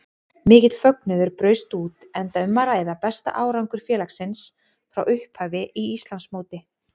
Mikill fögnuður braust út enda um að ræða besta árangur félagsins frá upphafi í Íslandsmóti.